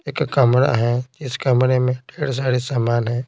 एक कमरा है इस कमरे में ढेर सारे सामान हैं।